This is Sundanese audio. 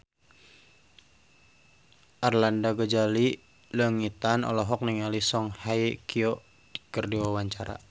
Arlanda Ghazali Langitan olohok ningali Song Hye Kyo keur diwawancara